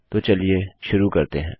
तो चलिए शुरू करते हैं